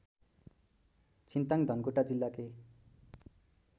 छिन्ताङ धनकुटा जिल्लाकै